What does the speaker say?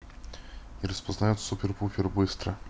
и распознаёт супер-пупер быстро